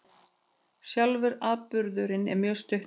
Sjálfur atburðurinn er mjög stuttur